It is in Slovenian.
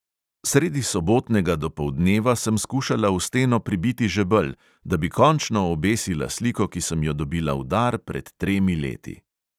Sredi sobotnega dopoldneva sem skušala v steno pribiti žebelj, da bi končno obesila sliko, ki sem jo dobila v dar pred tremi leti.